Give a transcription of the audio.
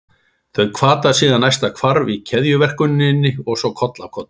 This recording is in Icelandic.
Þau hvata síðan næsta hvarf í keðjuverkuninni og svo koll af kolli.